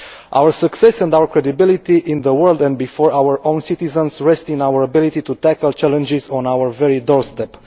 Our success and our credibility in the world, and before our own citizens, rest in our ability to tackle challenges on our very doorstep.